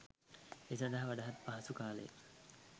ඒ සඳහා වඩාත් පහසු කාලය